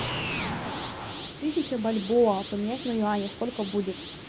тысяча бальбоа поменять на юани сколько будет